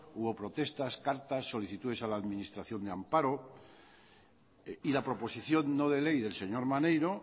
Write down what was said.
hubo protestas cartas solicitudes a la administración de amparo y la proposición no de ley del señor maneiro